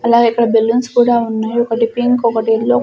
అలాగే ఇక్కడ బెలూన్స్ కూడా ఉన్నాయ్ ఒకటి పింక్ ఒకటి ఎల్లో --